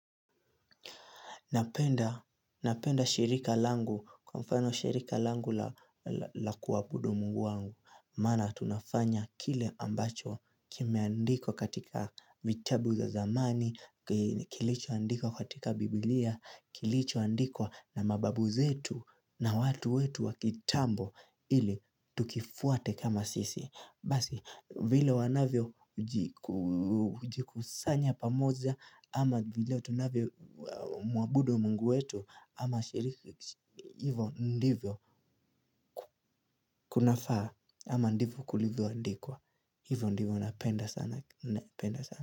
Napenda shirika langu kwa mfano shirika langu la kuabudu Mungu wangu. Maana tunafanya kile ambacho kimeandikwq katika vitabu za zamani, kilicho andikwa katika biblia, kilicho andikwa na mababu zetu na watu wetu wa kitambo ili tukifuate kama sisi. Basi vile wanavyo jikusanya pamoja ama vile tunavyo mwabudu Mungu wetu ama shiriki hivo ndivyo kunafaa ama ndivyo kulivyo andikwa. Hivo ndivyo napenda sana.